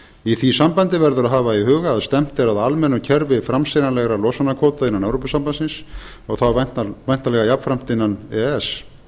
í því sambandi verður að hafa í huga að stefnt er að almennu kerfi framseljanlegra losunarkvóta innan evrópusambandsins og þá væntanlega jafnframt innan e e s